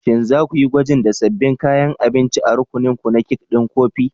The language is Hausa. Shin za ku yi gwajin da sabbin kayan abinci a rukuninku na kek ɗin kofi?